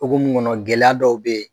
Togo mu kɔnɔ gɛlɛya dɔw be ye